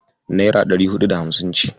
Naira ɗari huɗu da hamsin ce.